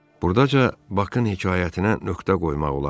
Burdaca Bakın hekayətinə nöqtə qoymaq olardı.